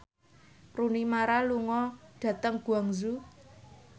Rooney Mara lunga dhateng Guangzhou